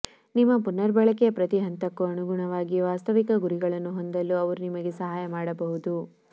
ನಿಮ್ಮ ಪುನರ್ಬಳಕೆಯ ಪ್ರತಿ ಹಂತಕ್ಕೂ ಅನುಗುಣವಾಗಿ ವಾಸ್ತವಿಕ ಗುರಿಗಳನ್ನು ಹೊಂದಲು ಅವರು ನಿಮಗೆ ಸಹಾಯ ಮಾಡಬಹುದು